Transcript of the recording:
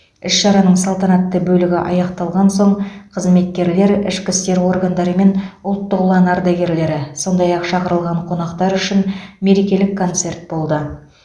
іс шараның салтанатты бөлігі аяқталған соң қызметкерлер ішкі істер органдары мен ұлттық ұлан ардагерлері сондай ақ шақырылған қонақтар үшін мерекелік концерт болды